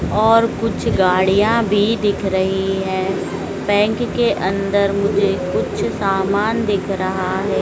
और कुछ गाड़ियां भी दिख रही है बैंक के अंदर मुझे कुछ सामान दिख रहा है।